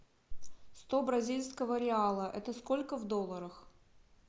сто бразильского реала это сколько в долларах